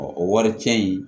o wari cɛn in